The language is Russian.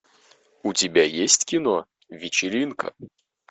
у тебя есть кино вечеринка